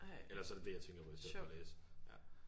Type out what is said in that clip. Ellers så er det det jeg tænker på i stedet for at læse ja